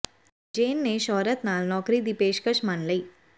ਜੇਨ ਨੇ ਸ਼ੌਹਰਤ ਨਾਲ ਨੌਕਰੀ ਦੀ ਪੇਸ਼ਕਸ਼ ਮੰਨ ਲਈ